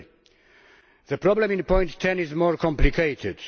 Firstly, the problem in point 10 is more complicated.